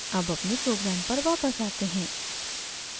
अब अपने program पर वापस आते हैं